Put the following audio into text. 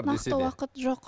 нақты уақыт жоқ